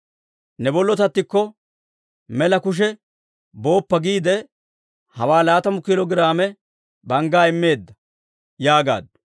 « ‹Ne bollotattikko mela kushe booppa› giide hawaa laatamu kiilo giraame banggaa immeedda» yaagaaddu.